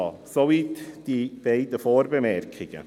Soweit die beiden Vorbemerkungen.